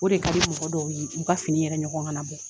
O de kadi mɔgɔ dɔw ye u ka fini yɛrɛ ɲɔgɔn ka na bɔ